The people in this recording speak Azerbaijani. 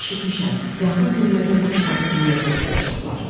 Lakin eşitmişəm, yaxın günlərdə bu kitabı bir yerdə oxuyacaqlar.